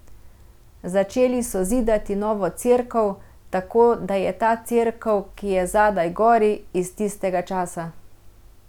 Začeli so zidati novo cerkev, tako da je ta cerkev, ki je zdaj gori, iz tistega časa.